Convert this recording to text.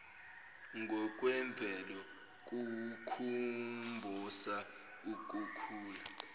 ngokwemvelo kukhumbosa ukukhula